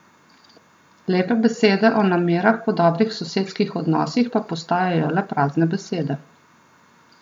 Lepe besede o namerah po dobrih sosedskih odnosih pa postajajo le prazne besede.